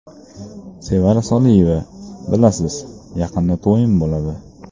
Sevara Soliyeva: Bilasiz, yaqinda to‘yim bo‘ladi.